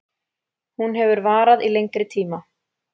Hún hefur varað í lengri tíma